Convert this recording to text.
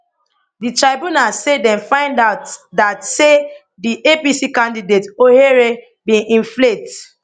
di tribunal say dem find out dat say di apc candidate ohere bin inflate